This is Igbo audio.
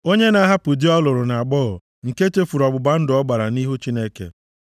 Onye na-ahapụ di ọ lụrụ nʼagbọghọ, nke chefuru ọgbụgba ndụ ọ gbara nʼihu Chineke.